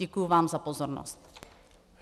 Děkuji vám za pozornost.